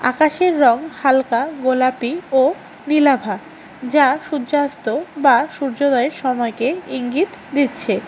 আকাশের রং হালকা গোলাপী ও নীলাভা যা সূর্যাস্ত বা সূর্যোদয়ের সময়কে ইঙ্গিত দিচ্ছে।